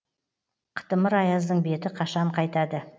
қытымыр аяздың беті қашан қайтады